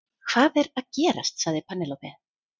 Hvað er að gerast sagði Penélope.